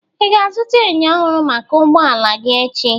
Ị ga azụta enyo ọhụrụ maka ụgbọala gị echi?